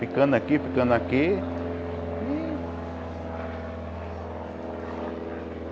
Ficando aqui, ficando aqui. E